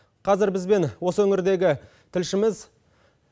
қазір бізбен осы өңірдегі тілшіміз